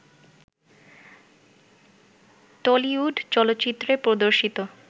Tollywood চলচ্চিত্রে প্রদর্শিত